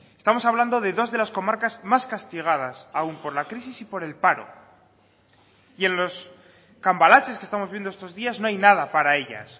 estamos hablando de dos de las comarcas más castigadas aún por la crisis y por el paro y en los cambalaches que estamos viendo estos días no hay nada para ellas